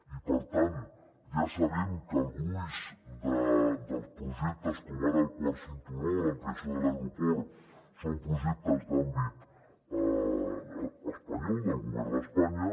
i per tant ja sabem que el gruix dels projectes com ara el quart cinturó o l’ampliació de l’aeroport són projectes d’àmbit espanyol del govern d’espanya